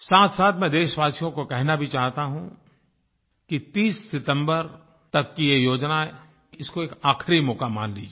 साथसाथ मैं देशवासियों को कहना भी चाहता हूँ कि 30 सितम्बर तक की ये योजना है इसको एक आखिरी मौका मान लीजिए